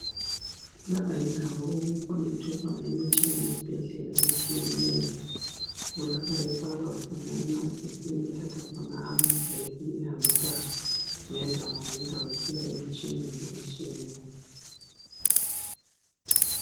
Lapho yindawo okukhonethwe khona imitshina yesibhedlela etshiyeneyo. Kulapha efakwa khona emagetsini ethatha khona amagetsi ihambisa ngendawo ngendawo isiya emitshineni etshiyeneyo.